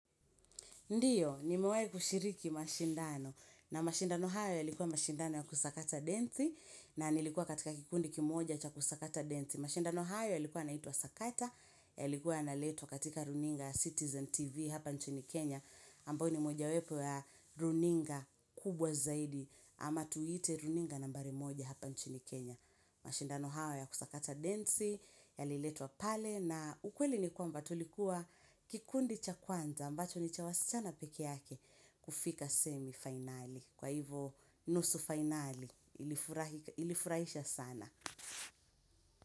Ndiyo, nimewai kushiriki mashindano na mashindano hayo yalikuwa mashindano ya kusakata densi na nilikuwa katika kikundiki moja cha kusakata densi. Mashindano hao yalikuwa naitwa sakata yalikuwa naletwa katika runinga Citizen TV hapa nchini Kenya ambayo ni moja wepo ya runinga kubwa zaidi ama tuite runinga nambari moja hapa nchini Kenya. Mashindano hayo ya kusakata densi, yaliletwa pale na ukweli ni kwamba tulikuwa kikundi cha kwanza ambacho ni cha wasichana peke yake kufika semi-finali. Kwa hivo nusu finali ilifurahisha sana.